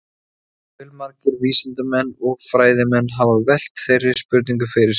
Fjölmargir vísindamenn og fræðimenn hafa velt þeirri spurningu fyrir sér.